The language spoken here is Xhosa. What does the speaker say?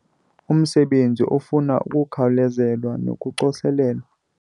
Umsebenzi ufuna ukukhawulezelwa nokucoselelwa